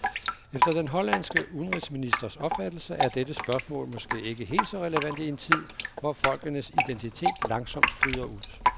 Efter den hollandske udenrigsministers opfattelse er dette spørgsmål måske ikke helt så relevant i en tid, hvor folkenes identitet langsomt flyder ud.